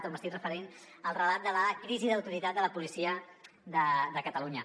m’estic referint al relat de la crisi d’autoritat de la policia de catalunya